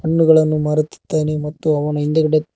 ಹಣ್ಣುಗಳನ್ನು ಮಾರುತಿದ್ದಾನೆ ಮತ್ತು ಅವನ ಹಿಂದ್ಗಡೆ--